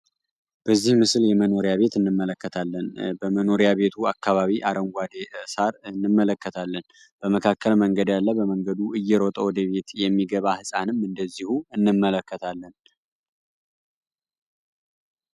በዚህ ምስል የመኖሪያ ቤት እንመለከታለን በመኖሪያ ቤቱ አካባቢ አረንጓዴ ሳር እንመለከታለን በመካከል መንገድ አለ በመንገዱ እየሮጠ ወደቤት የሚገባ ህፃንም እንመለከታለን።